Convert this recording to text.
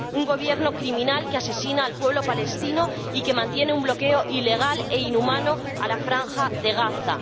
Un gobierno criminal que asesina al pueblo palestino y que mantiene un bloqueo ilegal e inhumano en la Franja de Gaza.